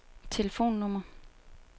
telefonnummer